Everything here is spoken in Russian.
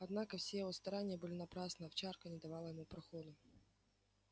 однако все его старания были напрасны овчарка не давала ему проходу